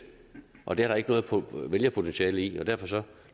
og det er der ikke noget vælgerpotentiale i og derfor